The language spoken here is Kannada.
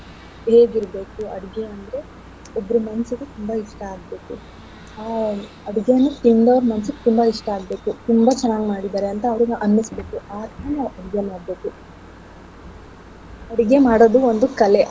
ಹೇಗಿರ್ಬೇಕು ಅಡ್ಗೆ ಅಂದ್ರೆ ಒಬ್ರ್ ಮನ್ಸಿಗೆ ತುಂಬಾ ಇಷ್ಟ ಆಗ್ಬೇಕು ಆ ಅಡ್ಗೆನು ತಿಂದೋರ್ ಮನ್ಸಿಗೆ ತುಂಬಾ ಇಷ್ಟ ಆಗ್ಬೇಕು ತುಂಬಾ ಚೆನ್ನಾಗ್ ಮಾಡಿದಾರೆ ಅಂತ ಅವ್ರಿಗ್ ಅನ್ನಿಸ್ಬೇಕು ಆ ರೀತಿ ನೀವ್ ಅಡ್ಗೆ ಮಾಡ್ಬೇಕು ಅಡ್ಗೆ ಮಾಡೋದು ಒಂದ್ ಕಲೆ.